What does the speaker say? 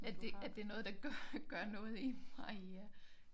At det at det noget der gør gør noget i mig